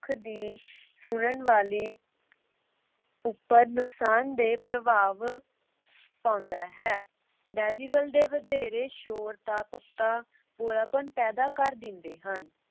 ਮਨੁੱਖ ਦੀ ਸੁਨਣ ਵਾਲੀ ਉਪਰ ਨੁਕਸਾਨਦੇਹ ਪ੍ਰਭਾਵ ਪਾਉਂਦਾ ਹੈ। decibel ਦਾ ਵਧੇਰੇ ਸ਼ੋਰ ਜਾ ਪੱਕਾ ਬੋਲਾਪਨ ਪੈਦਾ ਕਰ ਦਿੰਦੇ ਹਨ।